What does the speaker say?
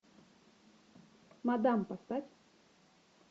мадам поставь